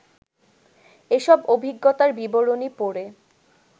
এসব অভিজ্ঞতার বিবরণী পড়ে